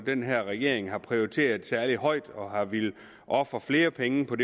den her regering har prioriteret særlig højt og har villet ofre flere penge på